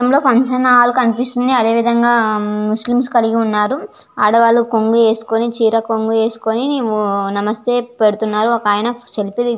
Room లో function hall కనిపిస్తుంది. అదేవిధంగా ముస్లిమ్స్ కలిగి ఉన్నారు. ఆడవాళ్లు కొంగు ఏసుకొని చీర కొంగు వేసుకుని నమస్తే పెడుతున్నారు ఒకాయన సెల్ఫీ --